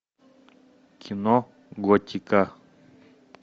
кино готика